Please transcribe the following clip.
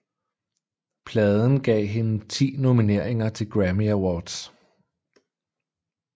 Pladen gav hende ti nomineringer til Grammy Awards